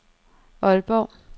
Aalborg